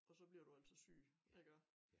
Og så bliver du altså syg iggå